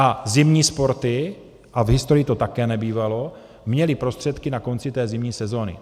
A zimní sporty, a v historii to také nebývalo, měly prostředky na konci té zimní sezóny.